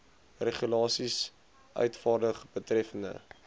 regulasies uitvaardig betreffende